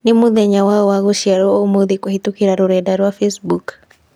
Nĩ mũthenya waũ wa gũciarwo ũmũthĩkũhītũkīra rũrenda rũa facebook?